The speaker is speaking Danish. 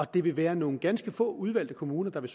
det vil være nogle ganske få udvalgte kommuner der vil